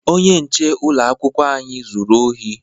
Onye nche ụlọakwụkwọ anyị zuru ohi